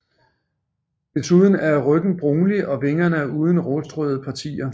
Desuden er ryggen brunlig og vingerne er uden rustrøde partier